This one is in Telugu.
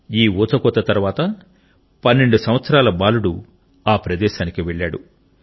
ఈ ఊ చకోత తరువాత పన్నెండు సంవత్సరాల బాలుడు ఆ ప్రదేశానికి వెళ్ళాడు